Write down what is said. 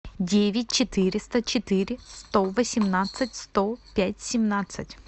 девять четыреста четыре сто восемнадцать сто пять семнадцать